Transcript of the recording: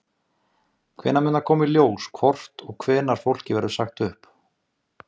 Erla Björg: Hvenær mun það koma í ljós hvort og hvenær fólki verður sagt upp?